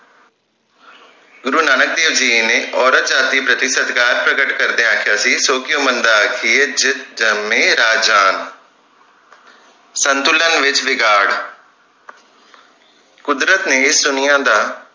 ਗੁਰੂ ਨਾਨਕ ਦੇਵ ਜੀ ਨੇ ਔਰਤ ਜਾਤਿ ਪ੍ਰਤੀ ਸਤਿਕਾਰ ਪ੍ਰਕਟ ਕਰਦਿਆਂ ਆਖਿਆ ਸੀ ਸੌ ਕਿਓਂ ਮੰਦਾ ਆਖੀਏ ਜਿੱਤ ਜੰਮੇ ਰਾਜਾਨ ਸੰਤੁਲਨ ਵਿਚ ਵਿਗਾੜ ਕੁਦਰਤ ਨੇ ਇਸ ਦੁਨੀਆਂ ਦਾ